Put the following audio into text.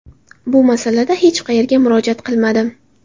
Bu masalada hech qayerga murojaat qilmadim.